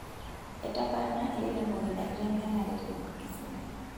Etaparana ilairemok inakitengenare te kisumu.